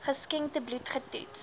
geskenkte bloed getoets